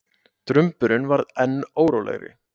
Drumburinn varð enn órólegri.